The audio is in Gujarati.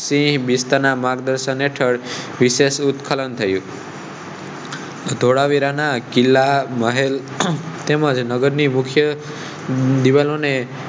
માર્ગધર્ષણ હેટળ વિશેસ ઉઠખલાં થયું ધોળાવીરા ના કિલાં, મહેલ, તેમજ મુખય દીવાલો ને